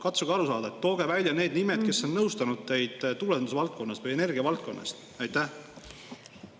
Katsuge aru saada: tooge välja need nimed, kes on nõustanud teid tuulendusvaldkonnas või energiavaldkonnas!